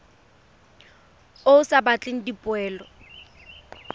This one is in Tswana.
o o sa batleng dipoelo